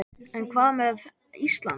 En hvað með Ísland.